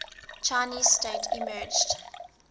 chinese state emerged